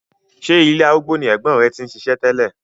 Ṣé ilé arúgbó ni ẹ̀gbọ́n rẹ ti ń ṣiṣẹ́ tẹ́lẹ̀?